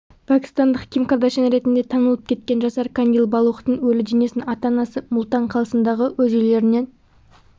пәкістандық ким кардяшьян ретінде танылып кеткен жасар кандил балухтың өлі денесін ата-анасы мултан қалсындағы өз үйлерінен